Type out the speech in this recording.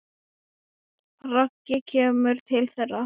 Raggi kemur til þeirra.